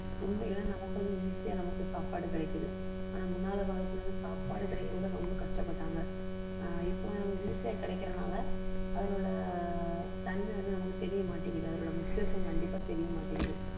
உண்மையிலேயே நமக்கு வந்து easy யா நமக்கு சாப்பாடு கிடைக்குது ஆனால் முன்னால காலத்தில இருந்து சாப்பாடு கிடைக்கக்கூட ரொம்ப கஷ்டப்பட்டாங்க. ஆஹ் இப்போ வந்து நமக்கு easy ஆ கிடைக்கிறதுனால அதில உள்ள தன்மை வந்து நமக்கு தெரிய மாட்டேங்குது அதோட முக்கியத்துவம் கண்டிப்பா தெரிய மாட்டேங்குது